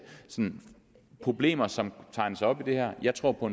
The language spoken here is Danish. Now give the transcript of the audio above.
problemer som tegnes op i det her jeg tror på